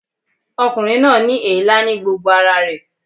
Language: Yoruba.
Ọkùnrin náà ní èélá ní gbogbo ara rẹ̀